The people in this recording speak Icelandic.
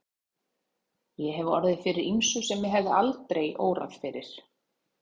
Ég hef orðið fyrir ýmsu sem mig hefði aldrei órað fyrir.